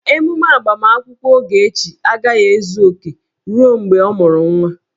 Emume agbamakwụkwọ Ogechi agaghị ezu oke ruo mgbe ọ mụru nwa